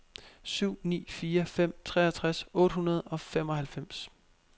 syv ni fire fem treogtres otte hundrede og femoghalvfems